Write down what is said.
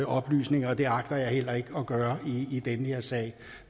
oplysninger og det agter jeg heller ikke at gøre i den her sag